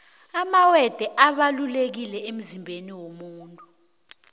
amawethe abalulekile emzimbeni womuntu